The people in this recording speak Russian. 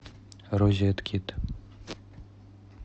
розеткед